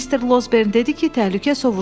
Mr. Losbern dedi ki, təhlükə sovuşub.